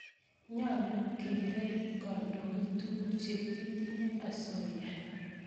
Nyalu kerep kandoik tukuk che kitinyye asoya